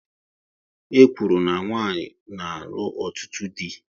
E kwuru na nwanyị na-alụ ọtụtụ dị